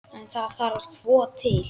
En það þarf tvo til.